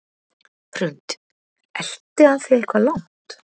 Hrund: Elti hann þig eitthvað langt?